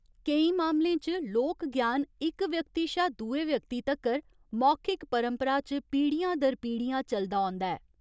केईं मामलें च, लोक ज्ञान इक व्यक्ति शा दुए व्यक्ति तक्कर मौखिक परंपरा च पीढ़ियां दर पीढ़ियां चलदा औंदा ऐ।